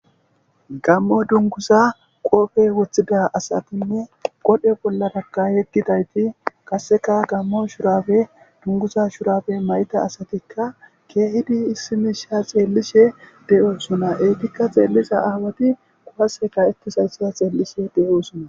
Gamori dungiza qope wothidda asati qodhe bollaraka yegidayti qaseka gamo shurabe dunguza shurabe mayida asatika kehidi issi misha xelishe de'osona ettika xelliza awati qaseka ka'etizaysa xelishe de'osona